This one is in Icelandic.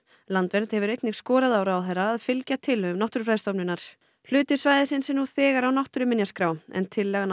landvernd hefur einnig skorað á ráðherra að fylgja tillögum Náttúrufræðistofnunar hluti svæðisins er nú þegar á náttúruminjaskrá en tillaga